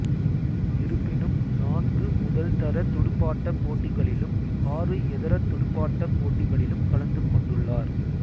இருப்பினும் நான்கு முதல்தர துடுப்பாட்டப் போட்டிகளிலும் ஆறு ஏதர துடுப்பாட்டப் போட்டியிலும் கலந்து கொண்டுள்ளார்